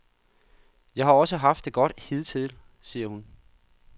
Jeg har også haft det godt hidtil, siger hun.